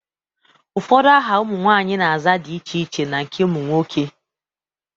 Ụfọdụ aha ụmụ nwaanyị na-aza dị iche na nke ụmụ nwoke.